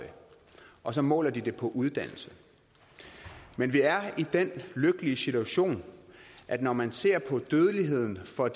og så måler de det på uddannelse men vi er i den lykkelige situation at når man ser på dødeligheden for